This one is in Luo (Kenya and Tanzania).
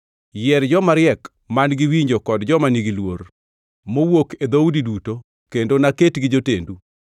Yier jomariek man-gi winjo kod joma nigi luor mowuok e dhoudi duto kendo naketgi jotendu.”